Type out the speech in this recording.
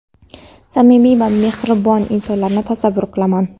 samimiy va mehribon insonlarni tasavvur qilaman.